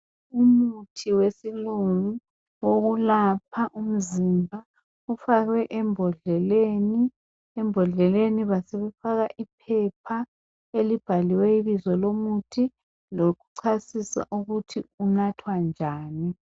Umuthi wesilungo wokulapha umzimba ufakwe embodleleni, embodleleni basebefaka iphepha elibhaliweyo ubizo lomuthi lokuchasisa ukuthi ungathwa njani.